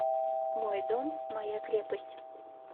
мой дом моя крепость